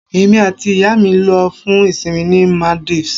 Èmi àti ìyá mi lọ fún ìsìnmi ní Maldives